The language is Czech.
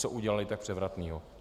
Co udělali tak převratného?